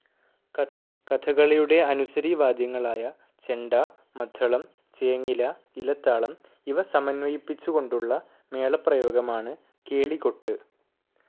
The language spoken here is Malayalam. കഥകളിയുടെ അനുസരിവാദ്യങ്ങളായ ചെണ്ട, മദ്ദളം, ചേങ്ങില, ഇലത്താളം ഇവ സമന്വയിപ്പിച്ചു കൊണ്ടുള്ള മേളപ്രയോഗമാണ് കേളികൊട്ട്.